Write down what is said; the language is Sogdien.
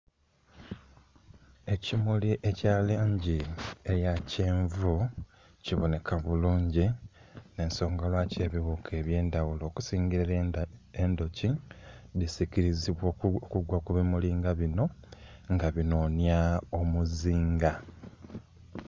Ekimuli ekya langi eya kyenvu kiboneka bulungi nh'ensonga lwaki ebiwuka eby'endaghulo okusinga endhuki dhisikilizibwa okugwa ku bimuli nga bino nga dhinhonya omuzinga